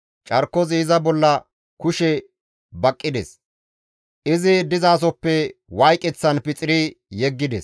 Carkozi iza bolla kushe baqqides; izi dizasoppe wayqeththan pixiri yeggides.